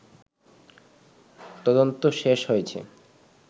তদন্ত শেষ হয়েছে